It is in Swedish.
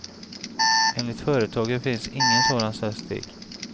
Enligt företaget finns ingen sådan statistik.